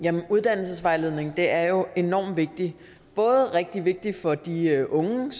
uddannelsesvejledning er jo enormt vigtigt både rigtig vigtigt for de unge